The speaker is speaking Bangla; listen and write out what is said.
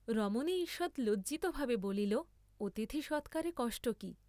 রমণী ঈষৎ লজ্জিতভাবে বলিল অতিথি সৎকারে কষ্ট কি?